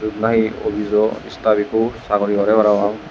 yot nahi obijo staff ikko sagori gore parapang.